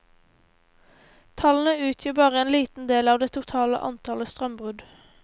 Tallene utgjør bare en liten del av det totale antallet strømbrudd.